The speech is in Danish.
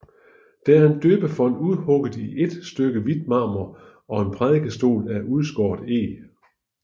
Der er en døbefont udhugget i ét stykke hvidt marmor og en prædikestol af udskåret eg